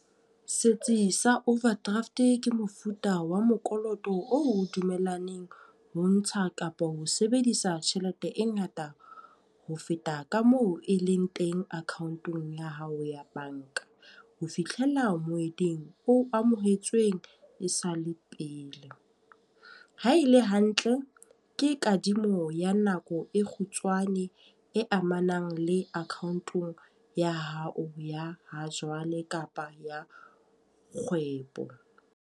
Setsi sa overdraft ke mofuta wa mokoloto dumellaneng ho ntsha kapa ho sebedisa tjhelete e ngata ho feta ka moo e leng teng account-ong ya hao ya banka. Ho fitlhela moeding o amohetsweng e sa le pele. Ha e le hantle, ke kadimo ya nako e kgutshwane e amanang le account-ong ya hao ya ha jwale kapa ya kgwebo.